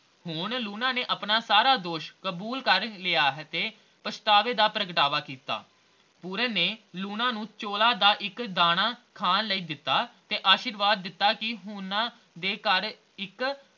ਹੁਣ ਲੂਣਾ ਨੇ ਆਪਣਾ ਸਾਰਾ ਦੋਸ਼ ਕਬੂਲ ਕਰ ਲਿਆ ਤੇ ਪਛਤਾਵੇ ਦਾ ਪ੍ਰਗਟਾਵਾ ਕੀਤਾ ਪੂਰਨ ਨੇ ਲੂਣਾ ਨੂੰ ਚੋਲਾ ਦਾ ਇਕ ਦਾਣਾ ਖਾਣ ਲਈ ਦਿਤਾ ਤੇ ਅਸ਼ੀਰਵਾਦ ਦਿਤਾ ਕੇ ਓਹਨਾ ਦੇ ਘਰ ਇਕ